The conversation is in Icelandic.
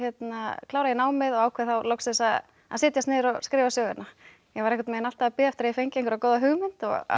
klára ég námið og ákvað þá loksins að að setjast niður og skrifa söguna ég var alltaf að bíða eftir að ég fengi einhverja góða hugmynd